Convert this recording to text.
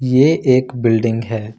ये एक बिल्डिंग है।